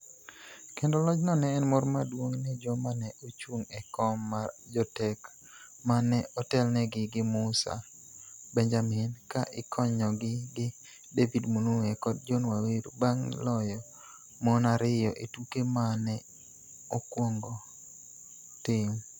Kendo lojno ne en mor maduong' ne joma ne ochung' e kom mar jotek ma ne otelnegi gi Musa Benjamin ka ikonygi gi David Munuhe kod John Waweru bang' loyo mon ariyo e tuke ma ne okwongo tim.